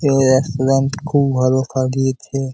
এই রেস্ট্রুরেন্ট খুব ভালো সাজিয়েছে ।